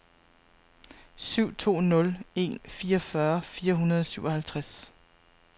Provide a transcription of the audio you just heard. syv to nul en fireogfyrre fire hundrede og syvoghalvtreds